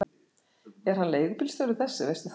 Er hann leigubílstjóri þessi, veistu það?